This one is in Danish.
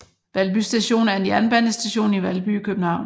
Valby Station er en jernbanestation i Valby i København